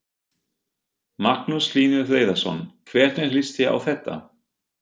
Magnús Hlynur Hreiðarsson: Hvernig líst þér á þetta?